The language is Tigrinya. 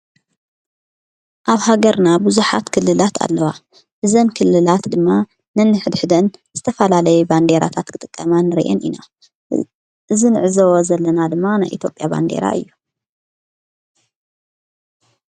ኣብ ሃገርና ብዙኃት ክልላት ኣለዋ እዘን ክልላት ድማ ነኒ ኅድኅደን ዝተፋላለየ ባንዴራታት ክጥቀማ ንርየን ኢና እንዕዘዎ ዘለና ድማ ናይ ኢትዮጵያ ባንዴራ እዩ::